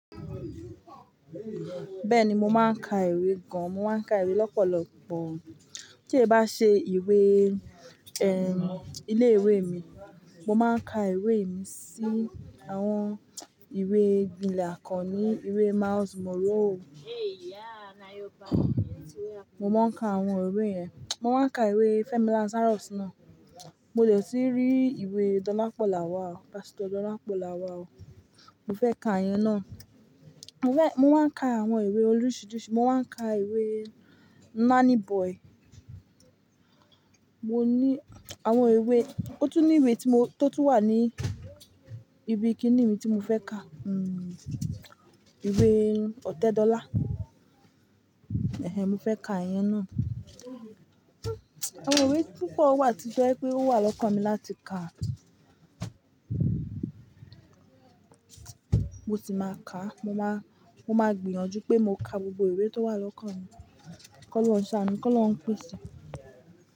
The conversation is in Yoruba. Bẹ́ẹ̀ni, mo máa ń ka ìwé gan. Mo máa ń ka ìwé lọ́pọ̀lọpọ̀. Tí è bá ṣe ìwé, ẹm, ilé ìwé mi, mo máa ń ka ìwé mi sí àwọn ìwé gbilẹ̀ àkọni, ìwé Miles Moroe. Mo máa ń ka àwọn ìwé yẹn. Mo máa ń ka ìwé Fẹ́mi Lazarus náà. Mo dè tì rí ìwé Dolapo Lawal, Pastor Dolapo Lawal. Mo fẹ́ ka ìyẹn náà. Mo fẹ́, mo máa ń ka àwọn ìwé oríṣiiríṣii. Mo máa ń ka ìwé Nanny Boy. Mo ní àwọn ìwé, ó tún ní ìwé tí mo, tó tún wà ní ibi kíní mi tí mo fẹ́ ka, ìwé ọ̀tẹ́dọ́là. Mo fẹ́ ka ìyẹn náà. Àwọn ìwé púpọ̀ wà tọ́ jẹ́ wípé ó wà lọ́kàn mi láti ka, mo sì máa ka. Mo máa, mo máa gbìyànjú pé mo ka gbogbo ìwé tó wà lọ́kàn mi. Kí Ọlọ́ruń sàánú, kí Ọlọ́ruń pèsè.